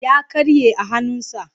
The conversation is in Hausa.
Ya karye a hannunsa.